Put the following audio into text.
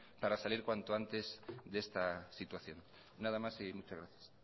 para salir cuanto antes de esta situación nada más y muchas gracias